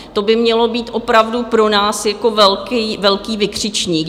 To by mělo být opravdu pro nás jako velký vykřičník.